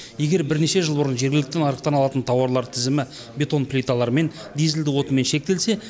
егер бірнеше жыл бұрын жергілікті нарықтан алатын тауарлар тізімі бетон плиталармен дизельді отынмен шектелсе